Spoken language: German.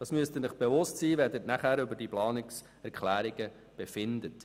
Dessen müssen Sie sich bewusst sein, wenn Sie nachher über diese Planungserklärungen befinden.